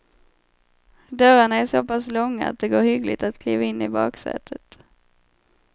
Dörrarna är så pass långa att det går hyggligt att kliva in i baksätet.